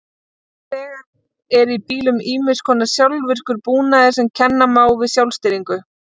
Nú þegar er í bílum ýmiss konar sjálfvirkur búnaður sem kenna má við sjálfstýringu.